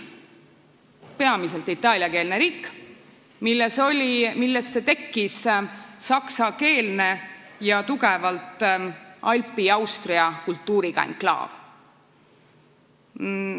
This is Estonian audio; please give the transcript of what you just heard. Peamiselt itaaliakeelsesse riiki tekkis saksakeelne ning tugevalt alpi ja austria kultuuriga enklaav.